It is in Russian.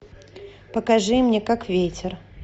покажи мне как ветер